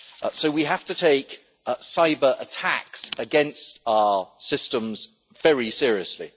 So we have to take cyber attacks against our systems very seriously.